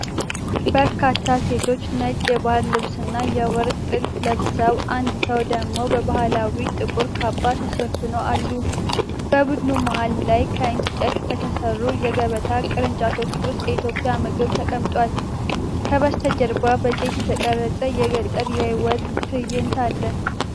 በርካታ ሴቶች ነጭ የባህል ልብስና የወርቅ ጥልፍ ለብሰው፣ አንድ ሰው ደግሞ በባህላዊ ጥቁር ካባ ተሸፍኖ አሉ። በቡድኑ መሃል ላይ፣ ከእንጨት በተሠሩ የገበታ ቅርጫቶች ውስጥ የኢትዮጵያ ምግብ ተቀምጧል። ከበስተጀርባ በዘይት የተቀረጸ የገጠር የሕይወት ትዕይንት አለ።